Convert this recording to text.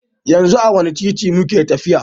Yanzu a wanne titi muke tafiya?